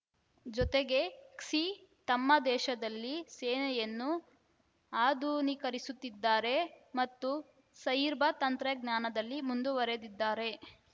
ಜೊತೆಗೆ ಕ್ಸಿ ತಮ್ಮ ದೇಶದಲ್ಲಿ ಸೇನೆಯನ್ನು ಆಧುನೀಕರಿಸುತ್ತಿದ್ದಾರೆ ಮತ್ತು ಸೈರ್ಬ ತಂತ್ರಜ್ಞಾನದಲ್ಲಿ ಮುಂದುವರಿದಿದ್ದಾರೆ